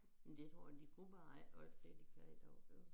Det tror jeg de kunne bare ikke holde til det de kan i dag jo